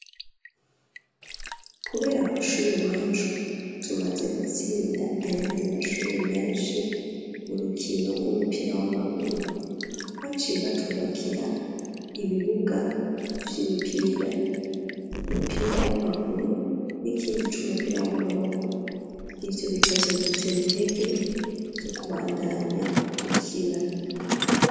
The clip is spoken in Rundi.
Kubera kw'ishuri iwacu, tumaze gutsinda, ayandi mashuri menshi, mu rukino rw'umupira w'amaguru; baciye batwubakira, ibibuga vy'imipira; umupira w'amaguru, n'ikindi c'umupira w'amaboko; ivyo bikazodutera intege, zo kubandanya dukina.